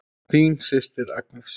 Þín systir Agnes.